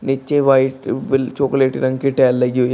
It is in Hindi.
नीचे व्हाइट विल चॉकलेट रंग के टाइल लगी हुई है।